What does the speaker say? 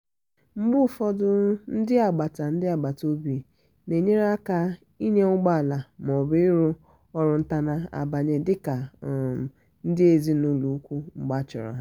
mgbe ụfọdụ ndi agbata ndi agbata obi na-enyere aka n'inya ụgbọala ma ọ bụ ịrụ ọrụ ntana-abanye dika um ndị ezinụlọ ùkwù mgbe achọrọ ha.